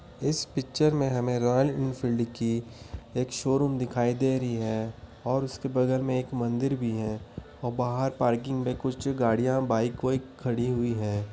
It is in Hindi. इस पिक्चर में हमें रॉयल एनफील्ड की एक शोरूम दिखाई दे रही है। और उसके बगल में एक मंदिर भी है। और बाहर पार्किंग में कुछ गाड़ियां बाइक वाइक खड़ी हुई हैं।